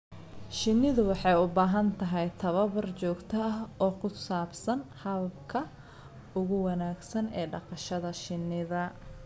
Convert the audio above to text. Shinnidu waxay u baahan tahay tababar joogto ah oo ku saabsan hababka ugu wanaagsan ee dhaqashada shinnida.